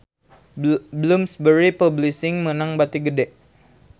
Bloomsbury Publishing meunang bati gede